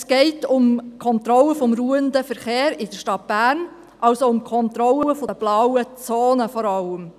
Es geht um die Kontrolle des ruhenden Verkehrs in der Stadt Bern, also vor allem um die Kontrolle der blauen Zonen.